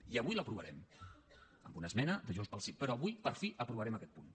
i avui l’aprovarem amb una esmena de junts pel sí però avui per fi aprovarem aquest punt